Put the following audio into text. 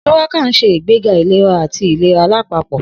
Shuwaka ń ṣe ìgbéga ìlera àti ìlera lápapọ̀.